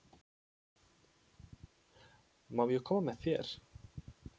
Má ég koma með þér?